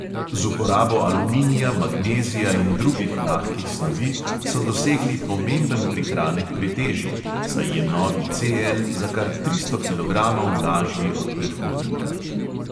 Z uporabo aluminija, magnezija in drugih lahkih snovi so dosegli pomemben prihranek pri teži, saj je novi CL za kar tristo kilogramov lažji od predhodnika.